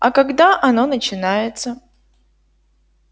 а когда оно начинается